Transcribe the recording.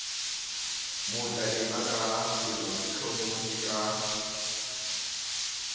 mo tadima ka pelotlhomohi ka